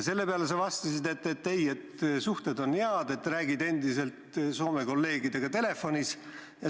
Selle peale sa vastasid, et ei, suhted on head, räägid endiselt Soome kolleegidega telefonis.